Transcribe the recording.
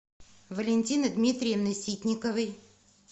валентины дмитриевны ситниковой